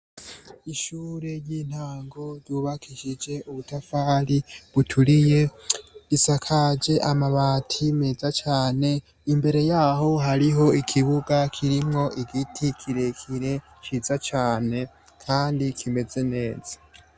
Ishure ry'intango ryubakishije ubutafari buturiye isakaje amabati meza cane, imbere yaho hariho ikibuga kirimwo igiti kirekire ciza cane Kandi kimeze neza.